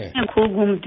मैं खूब घूमती हूँ